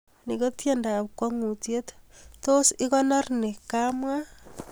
Ni ko tiendoab kwongutiet, tos ikonor nin kamwa